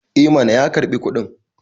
eh mana ya karbi kudin